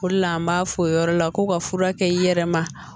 O de la an b'a fɔ o yɔrɔ la ko ka fura kɛ i yɛrɛ ma